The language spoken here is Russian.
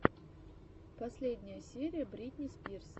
последняя серия бритни спирс